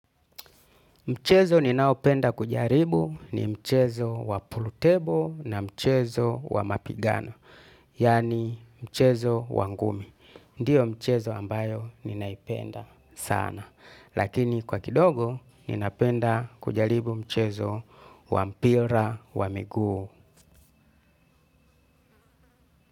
Mchezo ninaopenda kujaribu ni mchezo wa pooltable na mchezo wa mapigano, yani mchezo wa ngumi. Ndiyo mchezo ambayo ninaipenda sana, lakini kwa kidogo ninapenda kujaribu mchezo wa mpira wa miguu.